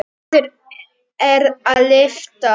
En eftir er að lyfta.